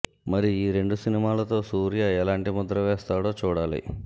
మరి ఈ రెండు సినిమాలతో సూర్య ఎలాంటి ముద్ర వేస్తాడో చూడాలి